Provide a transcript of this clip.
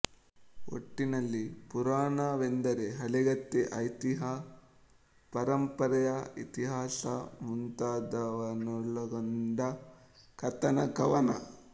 ಒಟ್ಟಿನಲ್ಲಿ ಪುರಾಣ ವೆಂದರೆ ಹಳಗತೆ ಐತಿಹ್ಯ ಪರಂಪರೆಯ ಇತಿಹಾಸ ಮುಂತಾದವನ್ನೊಳಗೊಂಡ ಕಥನ ಕವನ